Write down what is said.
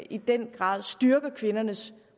i den grad styrker kvindernes